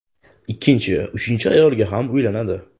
Ikkinchi, uchinchi ayolga ham uylanadi.